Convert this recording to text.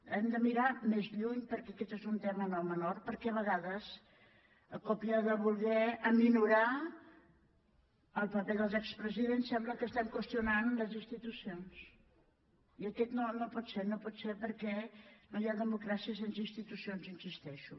hem de mirar més lluny perquè aquest és un tema no menor perquè a vegades a còpia de voler minorar el paper dels expresidents sembla que estem qüestionant les institucions i no pot ser no pot ser perquè no hi ha democràcia sense institucions hi insisteixo